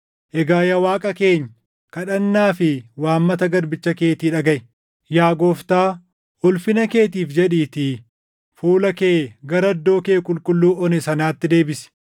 “Egaa yaa Waaqa keenya, kadhannaa fi waammata garbicha keetii dhagaʼi. Yaa Gooftaa, ulfina keetiif jedhiitii fuula kee gara iddoo kee qulqulluu one sanaatti deebisi.